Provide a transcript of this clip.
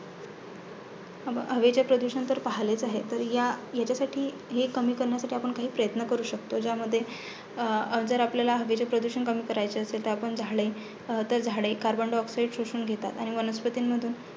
हवेचे प्रदूषण तर पहिलेचं आहे तर या ह्याच्यासाठी कमी करण्यासाठी आपण काही प्रयत्न करू शकतो, ज्यामध्ये जर आपल्याला हवेचे प्रदूषण कमी करायचे असेल, तर झाडे झाडे carbon diaoxide शोषून घेतात आणि वनस्पतींमधून